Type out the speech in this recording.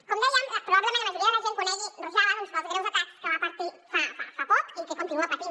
com dèiem probablement la majoria de la gent conegui rojava pels greus atacs que va patir fa poc i que continua patint